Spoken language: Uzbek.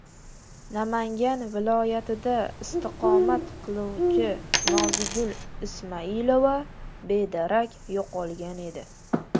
Namangan viloyatida istiqomat qiluvchi Nozigul Ismailova bedarak yo‘qolgan edi.